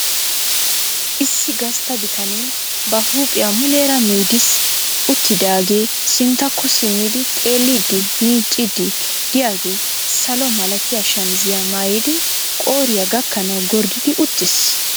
issi gastta bitanee ba huuphiyaa muleera meediisi uttidaage sinttakko simmidi xeellidi miiccidi de'iyaagee salo malatiyaa shamizziyaa maayyidi qooriya gakkanaw gorddidi uttiis.